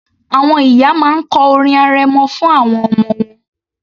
Àwọn ìyá máa ń kọ orin arẹmọ fún àwọn ọmọ wọn